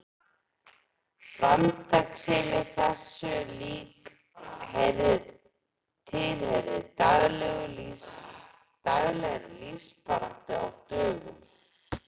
Framtakssemi þessu lík tilheyrði daglegri lífsbaráttu á dögum